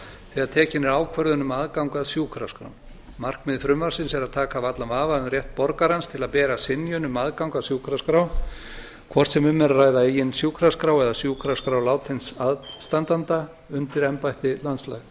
þegar tekin er ákvörðun um aðgang að sjúkraskrám markmið frumvarpsins er að taka af allan vafa um rétt borgarans til að bera synjun um aðgang að sjúkraskrá hvort sem um er að ræða eigin sjúkraskrá eða sjúkraskrá látins aðstandanda undir embætti